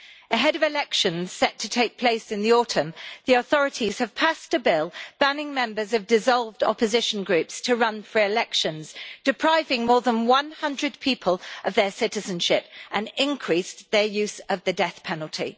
Ahead of elections set to take place in the autumn, the authorities have passed a bill banning members of dissolved opposition groups from running for elections depriving more than one hundred people of their citizenship, and increased their use of the death penalty.